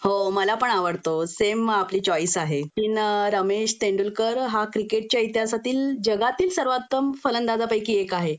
हो मला पण आवडतो सेम आपली चॉईस आहे.सचिन रमेश तेंडुलकर हा क्रिकेटच्या इतिहासातील जगातील सर्वोत्तम फलंदाजापैकी एक आहे